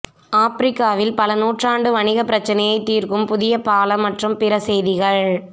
ஆப்பிரிக்காவில் பல நூற்றாண்டு வணிக பிரச்சனையை தீர்க்கும் புதிய பாலம் மற்றும் பிற செய்திகள்